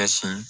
Ka sin